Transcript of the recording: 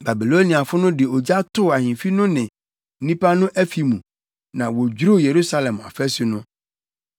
Babiloniafo no de ogya too ahemfi no ne nnipa no afi mu, na wodwiriw Yerusalem afasu no.